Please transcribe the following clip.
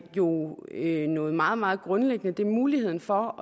jo noget meget meget grundlæggende det er muligheden for